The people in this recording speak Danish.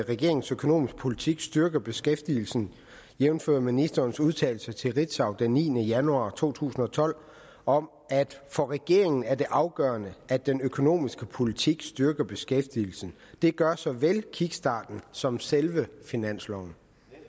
at regeringens økonomiske politik styrker beskæftigelsen jævnfør ministerens udtalelse til ritzau den niende januar to tusind og tolv om at for regeringen er det afgørende at den økonomiske politik styrker beskæftigelsen det gør såvel kickstarten som selve finansloven